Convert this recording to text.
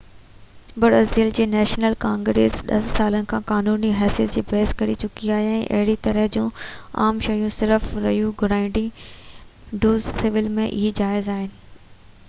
Brazil جي national congress 10 سالن کان قانوني حيثيت لاءِ بحث ڪري چڪي آهي ۽ اهڙي طرح جون عام شاديون صرف ريو گرانڊي ڊو سول ۾ ئي جائز آهن